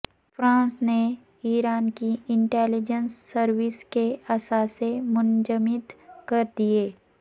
France نے Iran کی intelligence services کے اثاثے منجمد کر دئیے